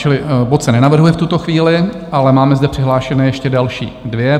Čili bod se nenavrhuje v tuto chvíli, ale máme zde přihlášené ještě další dvě.